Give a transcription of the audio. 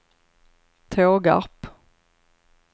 Tågarp